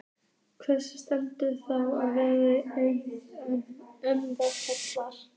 Hver stendur þá á verðlaunapalli eilífðarinnar?